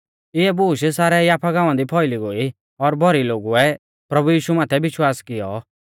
इऐ बूश सारै याफा गांवा दी फौइली गोई और भौरी लोगुऐ प्रभु यीशु माथै विश्वास किऔ